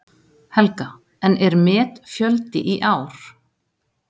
Helga: En er metfjöldi í ár?